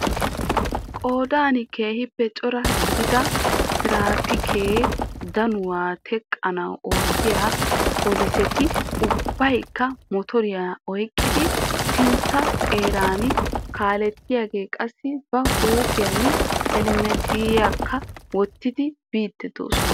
Qoodan keehiippe cora gidida traapikke danawu teqannawu oottiya polisetti ubbaykka motoriya oyqqiddi sintta xeeraan kalettiyagee qassi ba huuphphiyan helmettiyaakka wottidi biidi dosonna.